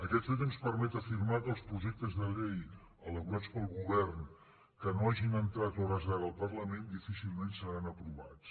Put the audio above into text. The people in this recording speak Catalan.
aquest fet ens permet afirmar que els projectes de llei elaborats pel govern que no hagin entrat a hores d’ara al parlament difícilment seran aprovats